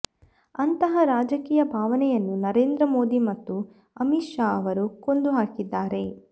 ಅಂತಹ ರಾಜಕೀಯ ಭಾವನೆಯನ್ನು ನರೇಂದ್ರ ಮೋದಿ ಮತ್ತು ಅಮಿತ್ ಷಾ ಅವರು ಕೊಂದು ಹಾಕಿದ್ದಾರೆ